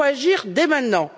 Il faut agir dès maintenant.